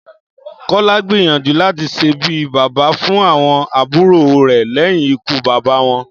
Kó̩lá gbìyànjú láti s̩e bí bàbá fún àwo̩n àbúrò rè̩ lé̩yìn ikú bàbá wo̩n